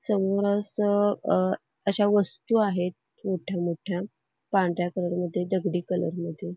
समोरच अश्या वस्तू आहेत मोठ्या मोठ्या पांढऱ्या कलरमध्ये दगडी कलरमध्ये .